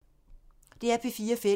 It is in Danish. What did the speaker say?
DR P4 Fælles